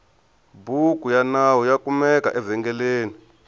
bhuku yanawu yakumeka evengeleni